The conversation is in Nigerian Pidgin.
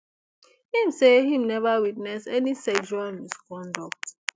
im say im never witness any sexual misconduct